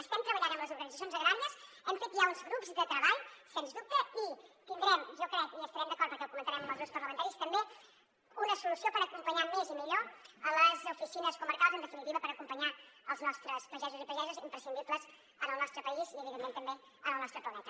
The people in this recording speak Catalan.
estem treballant amb les organitzacions agràries hem fet ja uns grups de treball sens dubte i tindrem jo crec i hi estarem d’acord perquè ho comentarem amb els grups parlamentaris també una solució per acompanyar més i millor les oficines comarcals en definitiva per acompanyar els nostres pagesos i pageses imprescindibles en el nostre país i evidentment també en el nostre planeta